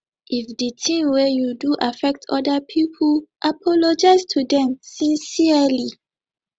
if di thing wey you do affect oda pipo apologize to them sincerely